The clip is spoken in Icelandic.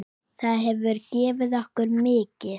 Það hefur gefið okkur mikið.